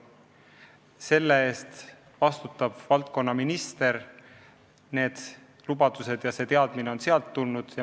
Selle eest vastutab valdkonnaminister – need lubadused on sealt tulnud.